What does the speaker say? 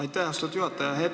Aitäh, austatud juhataja!